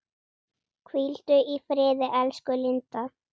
Hvíldu í friði, elsku Linda.